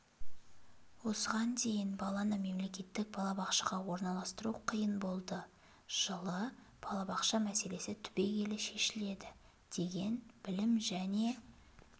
осыған дейін баланы мемлекеттік балабақшаға орналастыру қиын болды жылы балабақша мәселесі түбегейлі шешіледі деген білім және